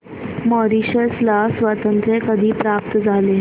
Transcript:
Mauritius ला स्वातंत्र्य कधी प्राप्त झाले